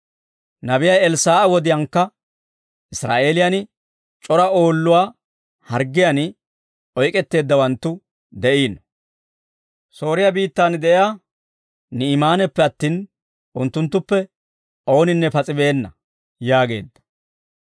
Nabiyaa Elssaa'a wodiyaankka Israa'eeliyaan c'ora oolluwaa harggiyaan oyk'etteeddawanttu de'iino; Sooriyaa biittaan de'iyaa Ni'imaaneppe attin unttunttuppe ooninne pas'i beenna» yaageedda.